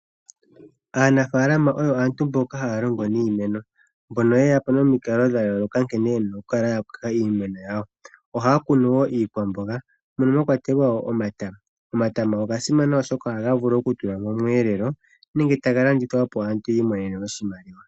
Aanafaalama oyo aantu mboka haya longo niimeno, mbono ye ya po nomikalo dha yooloka nkene ye na oku kala ya kuna iimeno yawo. Ohaya kunu wo iikwamboga mono mwa kwatelwa wo omatama. Omatama oga simana oshoka ohaga vulu oku tulwa momweelelo nenge ta ga landithwa opo aantu yi imonene oshimaliwa.